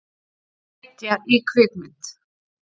Hetja í kvikmynd.